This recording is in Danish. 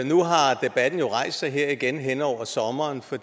nu har debatten rejst sig igen her hen over sommeren for